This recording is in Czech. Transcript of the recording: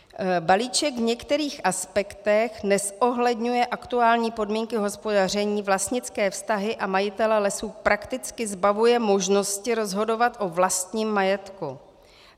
- Balíček v některých aspektech nezohledňuje aktuální podmínky hospodaření, vlastnické vztahy a majitele lesů prakticky zbavuje možnosti rozhodovat o vlastním majetku.